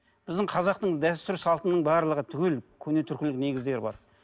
біздің қазақтың дәстүр салтының барлығы түгел көне түркілік негіздері бар